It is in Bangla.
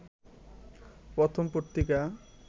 প্রথম পত্রিকা